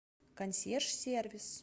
консьерж сервис